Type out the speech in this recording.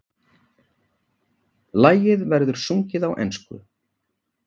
Lagið verður sungið á ensku